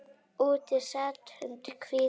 Úti sat und hvítum